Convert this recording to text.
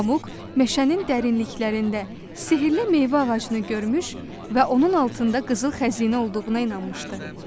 Pamuk meşənin dərinliklərində sehirli meyvə ağacını görmüş və onun altında qızıl xəzinə olduğuna inanmışdı.